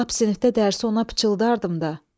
Lap sinifdə dərsi ona pıçıldardım da.